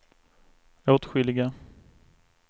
åtskilliga